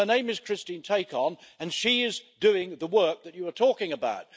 Her name is Christine Tacon and she is doing the work that you are talking about.